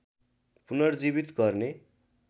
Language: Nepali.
पुनर्जीवित गर्ने